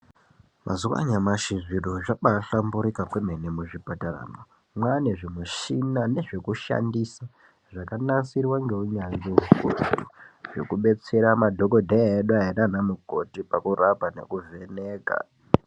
Mazuwa anyamashi zviro zvabahlamburika kwemene muzvipataramwo mwane zvimushina nezvekushandisa zvakanasirwa ngeunyanzvi ukurutu zvekubetsera madhokoteya edu aya nana mukoti zvekuvheneka.